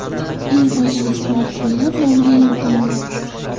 Eng foydali smartfonlar nomi e’lon qilindi.